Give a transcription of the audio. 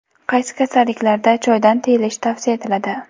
Qaysi kasalliklarda choydan tiyilish tavsiya etiladi?.